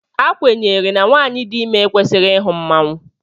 A kwenyere na nwanyị dị ime ekwesịghị ịhụ mmanwụ